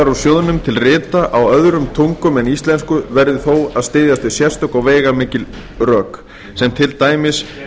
úr sjóðnum til rita á öðrum tungum en íslensku verði þó að styðjast við sérstök og veigamikil rök sem til dæmis